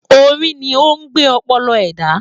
Orí ni o n gbé ọpọlọ ẹda.